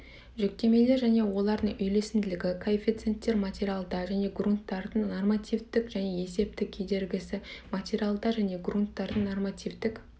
жүктемелер және олардың үйлесімділігі коэффициенттер материалда және граунттардың нормативтік және есептік кедергісі материалдар және грунттардың нормативтік